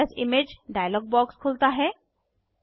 save as image dialog box खुलता है